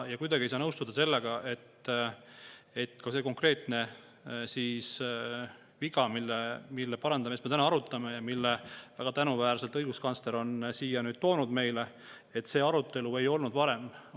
Kuidagi ei saa nõustuda, et see konkreetne viga, mille parandamist me täna arutame ja mille väga tänuväärselt õiguskantsler on nüüd toonud meie ette, ei olnud varem arutelu all.